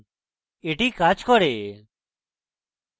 এটি কাজ করে